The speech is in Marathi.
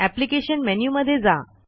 एप्लिकेशन मेनू मध्ये जा